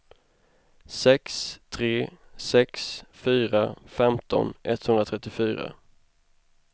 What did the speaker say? sex tre sex fyra femton etthundratrettiofyra